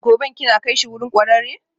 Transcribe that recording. Gobe ​​kina kaishi wurin kwararre?